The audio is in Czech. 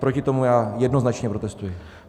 Proti tomu já jednoznačně protestuji.